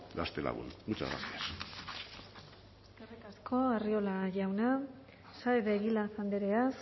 gaztelagun muchas gracias eskerrik asko arriola jauna saez de egilaz andrea